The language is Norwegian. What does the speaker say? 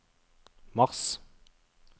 mars